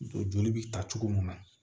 Joli bi ta cogo mun na